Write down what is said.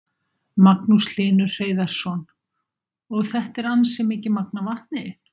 Magnús Hlynur Hreiðarsson: Og þetta er ansi mikið magn af vatni?